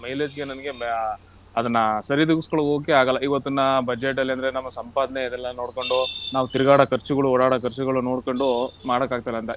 mileage ಗೆ ನಂಗೆ ಬ್ಯಾ~ ಅದನ್ನ ಸರಿದೂಗಿಸ್ಕೊಳ್ಳೋಕೆ ಆಗಲ್ಲ ಇವತ್ತಿನ budget ಅಲ್ಲಿ ಅಂದ್ರೆ ನಮ್ಮ ಸಂಪಾದನೆ ಇದೆಲ್ಲ ನೋಡ್ಕೊಂಡು ನಾವು ತಿರ್ಗಾಡೊ ಖರ್ಚ್ಗಳು ಓಡಾಡೋ ಖರ್ಚ್ಗಳು ನೋಡ್ಕೊಂಡು ಮಾಡಕ್ ಆಗ್ತಿಲ್ಲ ಅಂತ.